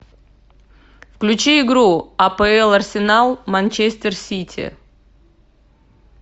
включи игру апл арсенал манчестер сити